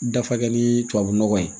Dafakɛ ni tubabunɔgɔ ye